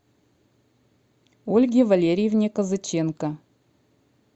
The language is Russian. ольге валерьевне козаченко